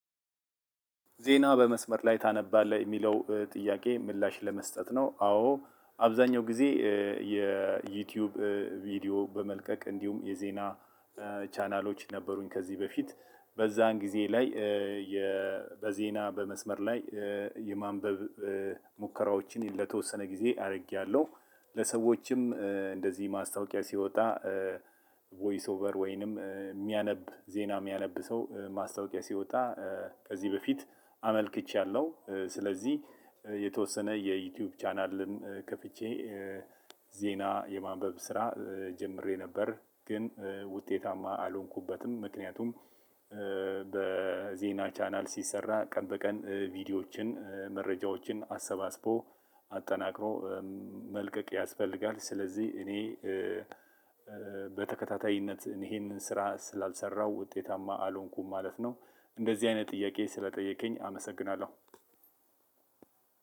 ዜና በመስመር ላይ ታነባለህ የሚለው ጥያቄ ምላሽ ለመስጠት ነው አዎ አብዛኛው ጊዜ የዩቲዩብ ቪዲዮ በመልቀቅ እንዲሁም የዜና ቻናሎች ነበሩኝ ከዚህ በፊት በዛን ጊዜ ላይ በዜና በመስመር ላይ የማንበብ ሙከራዎችን ለተወሰን ግዜ ከዚህ በፊት አመልክቻለሁ ስለዚህ የተወሰነ የዩቲዩብ ቻናልም ከፍቼ ዜና የማንበብ ስራ ጀምሬ ነበር ግን ውጤታማ አልሆንኩበትም ምክንያቱም በዜና ቻናል ሲሰራ ቀን በቀን ቪዲዮችን መረጃዎችን አሰባስቦ አጠናክሮ መልቀቅ ያስፈልጋል ስለዚህ እኔ በተከታታይነት ይሄንን ስራ ስላልሰራሁ ውጤታማ አልሆንኩም ማለት ነው። እንደዚህ አይነት ጥያቄ ስለጠየከኝ አመሰግናለው።